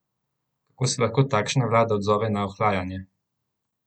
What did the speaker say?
Kako se lahko takšna vlada odzove na ohlajanje?